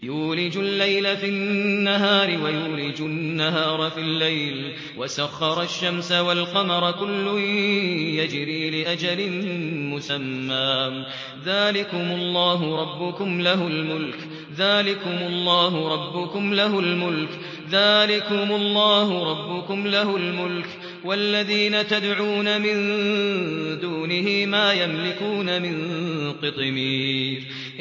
يُولِجُ اللَّيْلَ فِي النَّهَارِ وَيُولِجُ النَّهَارَ فِي اللَّيْلِ وَسَخَّرَ الشَّمْسَ وَالْقَمَرَ كُلٌّ يَجْرِي لِأَجَلٍ مُّسَمًّى ۚ ذَٰلِكُمُ اللَّهُ رَبُّكُمْ لَهُ الْمُلْكُ ۚ وَالَّذِينَ تَدْعُونَ مِن دُونِهِ مَا يَمْلِكُونَ مِن قِطْمِيرٍ